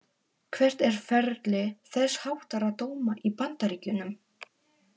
Hvert er ferli þess háttar dóma í Bandaríkjunum?